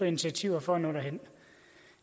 initiativer for at nå derhen